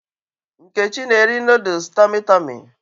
Nkechi na-eri nooduls Tọmị Tọmị